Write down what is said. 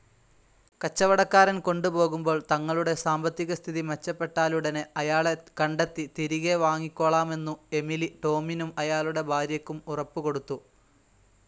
കച്ചവടക്കാരൻ കൊണ്ടുപോകുമ്പോൾ, തങ്ങളുടെ സാമ്പത്തികസ്ഥിതി മെച്ചപ്പെട്ടാലുടനെ അയാളെ കണ്ടെത്തി തിരികെ വാങ്ങിക്കോളാമെന്നു എമിലി, ടോമിനും അയാളുടെ ഭാര്യക്കും ഉറപ്പുകൊടുത്തു.